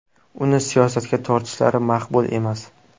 Uni siyosatga tortishlari maqbul emas.